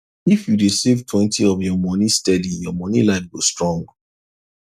if you dey savetwentyof your money steady your money life go strong